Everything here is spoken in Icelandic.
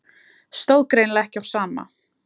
Stóð greinilega ekki á sama.